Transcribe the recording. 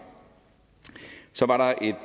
så var der et